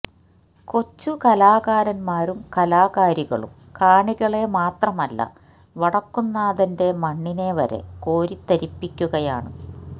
കൊച്ചു കലാകാരന്മാരും കലാകാരികളും കാണികളെ മാത്രമല്ല വടക്കുംനാഥന്റെ മണ്ണിനെ വരെ കോരിത്തരിപ്പിക്കുകയാണ്